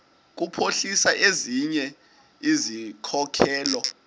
kuphuhlisa ezinye izikhokelo